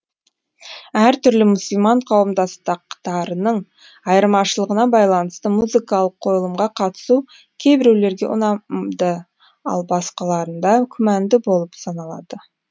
әр түрлі мұсылман қауымдастықтарының айырмашылығына байланысты музыкалық қойылымға қатысу кейбіреулерге ұнамды ал басқаларында күмәнді болып саналады